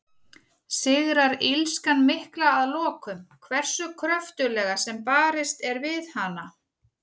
Sigrar illskan mikla að lokum, hversu kröftuglega sem barist er við hana?